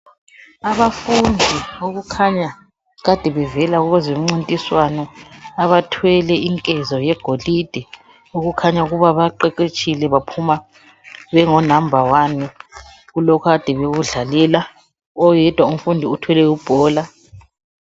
abafundi okukhanya kade bevela kwezemncintiswano abathwele inkezo yegolide okukhanya ukuba baqeqetshile baphuma bengo number 1 kulokhu ade bekudlalela oyedwa umfundi uthwele ibhola